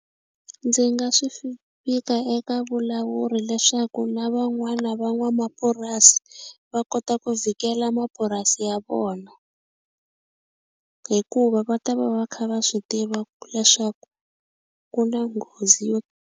Ndzi nga swi vika eka vulawuri leswaku na van'wana van'wamapurasi va kota ku vhikela mapurasi ya vona hikuva va ta va va kha va swi tiva leswaku ku na nghozi yo.